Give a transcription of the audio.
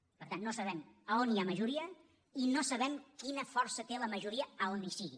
per tant no sabem on hi ha majoria i no sabem quina força té la majoria on hi sigui